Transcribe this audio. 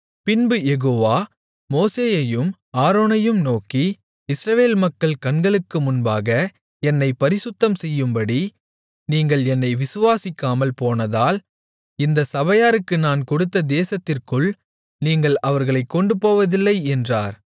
பின்பு யெகோவா மோசேயையும் ஆரோனையும் நோக்கி இஸ்ரவேல் மக்கள் கண்களுக்கு முன்பாக என்னைப் பரிசுத்தம்செய்யும்படி நீங்கள் என்னை விசுவாசிக்காமல் போனதால் இந்தச் சபையாருக்கு நான் கொடுத்த தேசத்திற்குள் நீங்கள் அவர்களைக் கொண்டுபோவதில்லை என்றார்